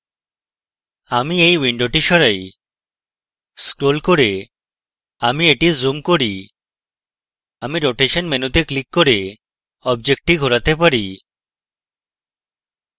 আমি এই window সরাই scrolling করে আমি এটি zoom করি আমি rotation মেনুতে ক্লিক করে অবজেক্টটি ঘোরাতে পারি